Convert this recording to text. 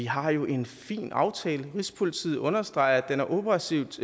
har en fin aftale rigspolitiet understreger at den er operativt